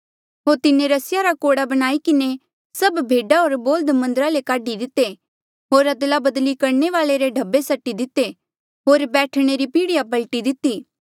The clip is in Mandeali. होर तिन्हें रस्सिया रा कोड़ा बणाई किन्हें सभ भेडा होर बोल्ह्द मन्दरा ले काढी दिते होर अदलाबदली करणे वाले रे ढब्बे सटी दिते होर बैठणे री पीढ़िया पलटी दिती